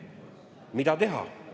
Mida teha?